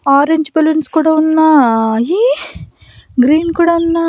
Orange balloons కూడా ఉన్నాయి green కూడా ఉన్నాయి.